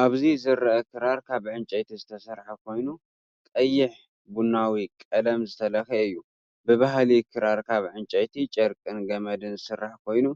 ኣብዚ ዝርአ ክራር ካብ ዕንጨይቲ ዝተሰርሐ ኮይኑ ቀይሕ-ቡናዊ ቀለም ዝተለኽየ እዩ። ብባህሊ ክራር ካብ ዕንጨይቲ ጨርቅን ገመድን ዝስራሕ ኮይኑ